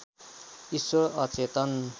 ईश्वर अचेतन